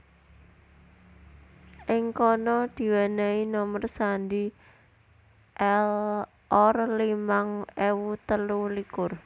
Ing kana diwenehi nomer sandhi L Or limang ewu telu likur